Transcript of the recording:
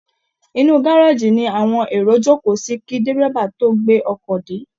Inú gárèjì ni àwọn èrò jókòó sí kí dẹ́rẹ́bà tó gbé ọkọ̀ dé